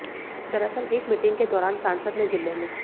दरअसल एक मीटिंग के दौरान सांसद ने जिले में